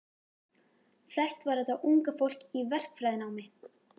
Flest var þetta unga fólk í verkfræðinámi.